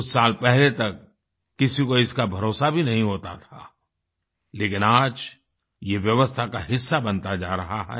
कुछ साल पहले तक किसी को इसका भरोसा भी नहीं होता था लेकिन आज ये व्यवस्था का हिस्सा बनता जा रहा है